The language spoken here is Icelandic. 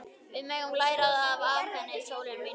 Við megum læra það af henni, sólin mín.